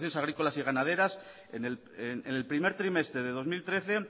agrícolas y ganaderas en el primer trimestre de dos mil trece